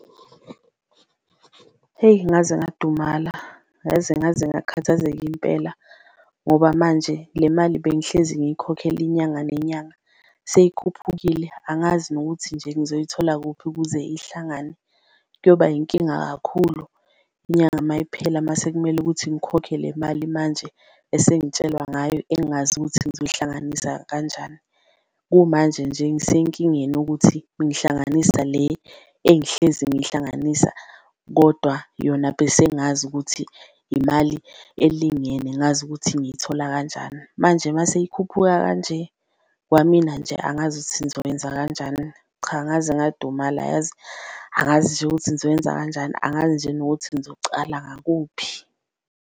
Heyi ngaze ngadumala yazi, ngazengakhathazeka impela ngoba manje le mali bengihlezi ngiyikhokhela inyanga nenyanga seyikhuphukile, angazi nokuthi nje ngizoyithola kuphi ukuze ihlangane. Kuyoba yinkinga kakhulu inyanga mayiphela mase kumele ukuthi ngikhokhe le mali manje esengitshelwa ngayo engazi ukuthi ngizohlanganisa kanjani. Kumanje nje ngisenkingeni ukuthi ngihlanganisa le engihlezi ngiyihlanganisa kodwa yona bese ngazi ukuthi imali elingene ngazi ukuthi ngiyithola kanjani, manje mase yikhuphuka kanje kwamina nje angazi ukuthi ngizokwenza kanjani. Cha, ngaze ngadumala yazi angazi nje ukuthi ngizowenza kanjani, angazi nje nokuthi ngizocala ngakuphi.